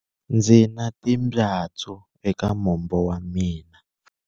Ndzi na timbyatsu eka mombo wa mina